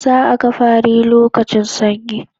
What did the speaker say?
Za'a ga fari lokacin sanyi